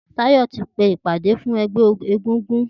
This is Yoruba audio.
Tayo ti pè ipàdé fún ẹgbẹ égúngún